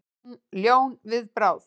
Ljón við bráð.